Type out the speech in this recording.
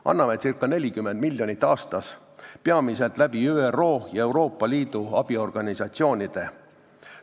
Anname ca 40 miljonit aastas, peamiselt ÜRO ja Euroopa Liidu abiorganisatsioonide kaudu.